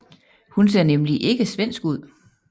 Hun ser nemlig ikke svensk ud